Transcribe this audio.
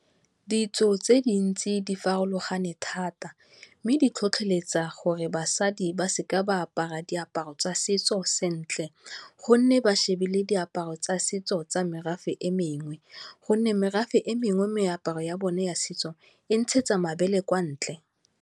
Ditso tse di ntsi di farologane thata mme di tlhotlheletsa gore basadi ba seka ba apara diaparo tsa setso sentle gonne ba šebile diaparo tsa setso tsa merafe e mengwe, gonne merafe e mengwe, meaparo ya bone ya setso e ntshetsa mabele kwa ntle.